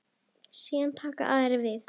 Síðan taka aðrir við.